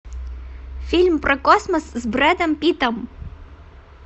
фильм про космос с брэдом питтом